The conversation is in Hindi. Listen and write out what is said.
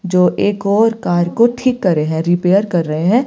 जो एक और कार को ठीक कर रहे हैं रिपेयर कर रहे हैं।